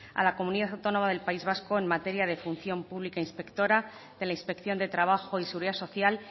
a la comunidad autónoma del país vasco en materia de función pública inspectora de la inspección de trabajo y seguridad social